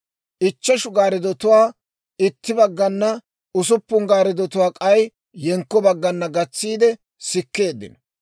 Ichcheshu gaariddotuwaa itti baggana, usuppun gaariddotuwaa k'ay yenkko baggana gatsiide sikkeeddino.